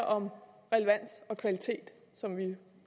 om relevans og kvalitet som vi